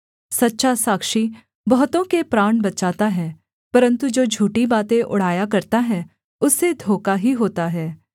सच्चा साक्षी बहुतों के प्राण बचाता है परन्तु जो झूठी बातें उड़ाया करता है उससे धोखा ही होता है